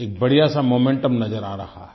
एक बढ़िया सा मोमेंटम नज़र आ रहा है